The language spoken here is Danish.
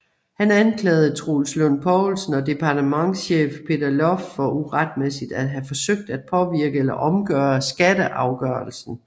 Han anklagede Troels Lund Poulsen og departementschef Peter Loft for uretmæssigt at have forsøgt at påvirke eller omgøre skatteafgørelsen